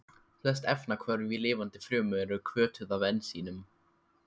Flest efnahvörf í lifandi frumu eru hvötuð af ensímum.